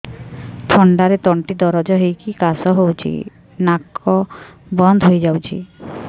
ଥଣ୍ଡାରେ ତଣ୍ଟି ଦରଜ ହେଇକି କାଶ ହଉଚି ନାକ ବନ୍ଦ ହୋଇଯାଉଛି